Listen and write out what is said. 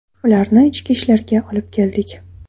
Ularni Ichki ishlarga olib keldik.